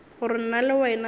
gore nna le wena re